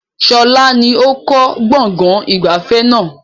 Sọlá ni ó kọ́ gbọ̀ngàn ìgbafẹ́ náà